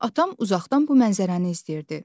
Atam uzaqdan bu mənzərəni izləyirdi.